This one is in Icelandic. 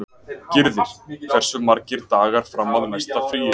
Gyrðir, hversu margir dagar fram að næsta fríi?